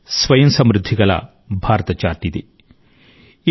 స్వయం సమృద్ధిగల Bharata chart ABC